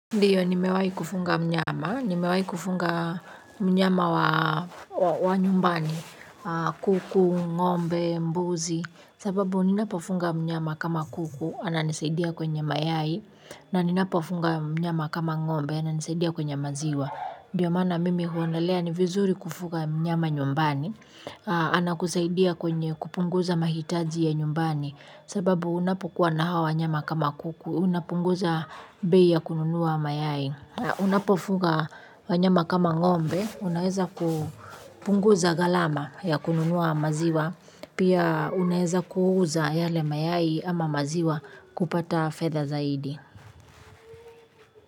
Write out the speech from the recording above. Ndiyo nimewai kufunga mnyama, nimewai kufunga mnyama wa nyumbani, kuku, ngombe, mbuzi. Sababu ninapofunga mnyama kama kuku, ananisaidia kwenye mayai. Na ninapofunga mnyama kama ng'ombe, ananisaidia kwenye maziwa. Ndiyo mana mimi huonelea ni vizuri kufunga mnyama nyumbani. Anakusaidia kwenye kupunguza mahitaji ya nyumbani sababu unapokuwa na hawa wanyama kama kuku, unapunguza bei ya kununuwa mayai. Unapofuga wanyama kama ngombe, unaeza kupunguza ghalama ya kununuwa maziwa, pia unaheza kuhuza yale mayai ama maziwa kupata fedha zaidi.